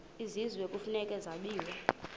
kwisizwe kufuneka zabiwe